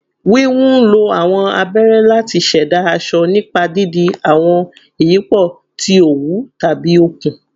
Wiwun nlo awọn abere lati ṣẹda aṣọ nipa didi awọn iyipo ti owu tabi okun